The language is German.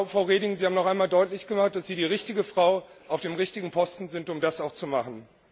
Frau Reding, Sie haben noch einmal deutlich gemacht, dass Sie die richtige Frau auf dem richtigen Posten sind, um das auch zu machen.